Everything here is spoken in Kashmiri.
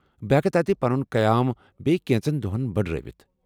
بہٕ ہٮ۪کہ تتہِ پنُن قیام بیٚیہ كینژن دوہن بٕڈرٲوِتھ ۔